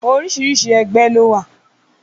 Oríṣiríṣi ẹgbẹ́ ló wà